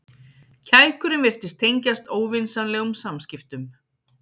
Kækurinn virtist tengjast óvinsamlegum samskiptum.